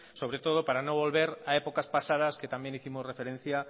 sobre todo para no volver a épocas pasadas que también hicimos referencia